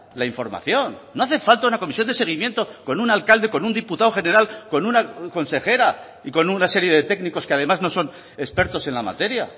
la información no hace falta una comisión de seguimiento con un alcalde con un diputado general con una consejera y con una serie de técnicos que además no son expertos en la materia